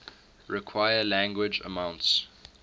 require large amounts